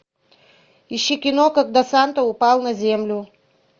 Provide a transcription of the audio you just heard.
ищи кино когда санта упал на землю